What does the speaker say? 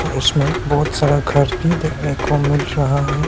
उसमें बहुत सारा घर भी देखने को मिल रहा है।